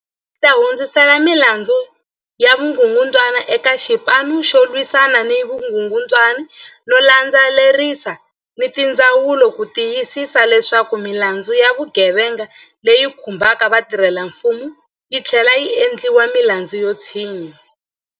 Yuniti yi ta hundzisela milandzu ya vukungundwani eka Xipanu xo Lwisana ni Vukungundwani no landze lerisa ni tindzawulo ku ti yisisa leswaku milandzu ya vugevenga leyi khumbaka vatirhelamfumo yi tlhlela yi endliwa milandzu yo tshinya.